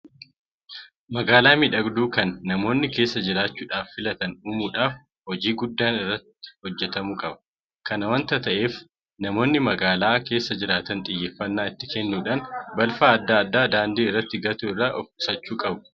Magaalaa miidhagduu kan namoonni keessa jiraachuudhaaf filatan uumuudhaaf hojii guddaan irratti hojjetamuu qaba. Kana waanta ta'eef namoonni magaalaa keessa jiraatan xiyyeeffannaa itti kennuudhaan balfa adda addaa daandii irratti gatuu irraa ofqusachuu qabu.